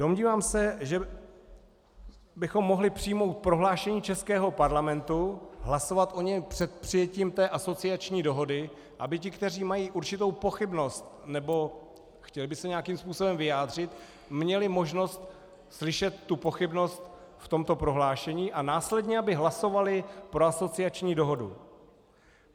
Domnívám se, že bychom mohli přijmout prohlášení českého parlamentu, hlasovat o něm před přijetím té asociační dohody, aby ti, kteří mají určitou pochybnost nebo chtěli by se nějakým způsobem vyjádřit, měli možnost slyšet tu pochybnost v tomto prohlášení a následně aby hlasovali pro asociační dohodu.